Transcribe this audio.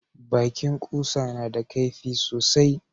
Bakin kusa na da kaifi sosai